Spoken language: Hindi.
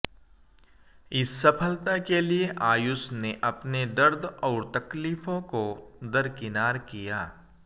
इस सफलता के लिए आयुष ने अपने दर्द और तकलीफों को दरकिनार किया